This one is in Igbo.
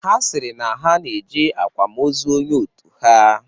Ha sịrị na ha na-eje akwamozu onye otu ha.